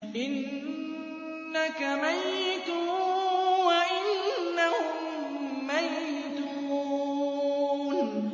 إِنَّكَ مَيِّتٌ وَإِنَّهُم مَّيِّتُونَ